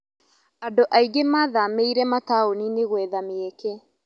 Andũ aingĩ mathamĩire mataoninĩ gwetha mĩeke.